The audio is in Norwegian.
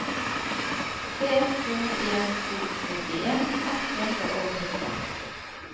tre to en to syttien ett hundre og nitten